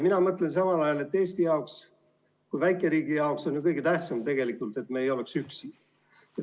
Mina mõtlen samal ajal, et Eesti kui väikeriigi jaoks on ju kõige tähtsam, et me ei oleks üksi.